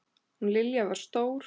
Hún Lilja var stór.